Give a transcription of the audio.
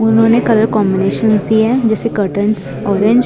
उन्होंने colour combination सी है जैसे कर्टन्स ऑरेंज --